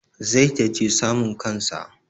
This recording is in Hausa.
zai taje suman kansa